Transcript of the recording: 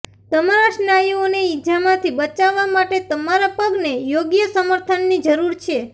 તમારા સ્નાયુઓને ઈજામાંથી બચાવવા માટે તમારા પગને યોગ્ય સમર્થનની જરૂર છે